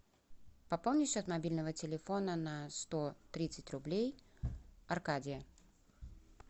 пополни счет мобильного телефона на сто тридцать рублей аркадия